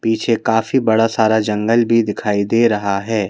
पीछे काफ़ी बड़ा सारा जंगल भी दिखाई दे रहा है।